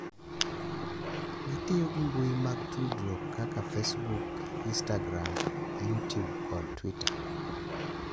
Gitiyo gi mbui mag tudruok kaka Facebook, instagram, yutube, kod twita